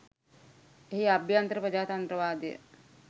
එහි අභ්‍යන්තර ප්‍රජාතන්ත්‍රවාදය